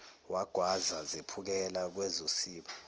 wagwaza zephukela kwezosiba